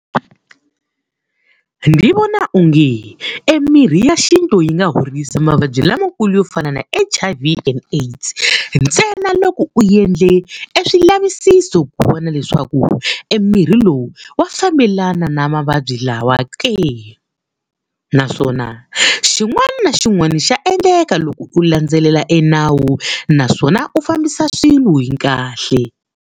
Ndzi vona onge emimirhi ya xintu yi nga horisa mavabyi lamakulu yo fana na H_I_V and AIDS, ntsena loko u endle e swivulavisiso ku vona leswaku e mirhi lowu wa fambelana na mavabyi lawa ke. Naswona xin'wana na xin'wana xa endleka loko u landzelela enawu, naswona u fambisa swilo hi kahle.